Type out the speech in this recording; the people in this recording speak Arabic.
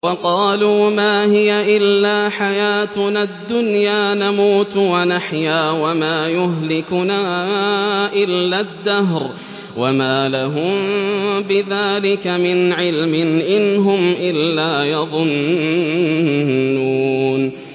وَقَالُوا مَا هِيَ إِلَّا حَيَاتُنَا الدُّنْيَا نَمُوتُ وَنَحْيَا وَمَا يُهْلِكُنَا إِلَّا الدَّهْرُ ۚ وَمَا لَهُم بِذَٰلِكَ مِنْ عِلْمٍ ۖ إِنْ هُمْ إِلَّا يَظُنُّونَ